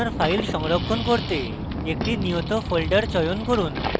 আপনার file সংরক্ষণ করতে একটি নিয়ত folder চয়ন করুন